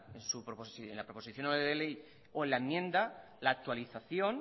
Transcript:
en su proposición no de ley o en la enmienda la actualización